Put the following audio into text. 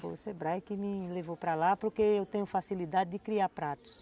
Foi o Sebrae que me levou para lá porque eu tenho facilidade de criar pratos.